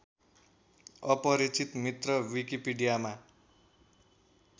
अपरिचित मित्र विकिपिडियामा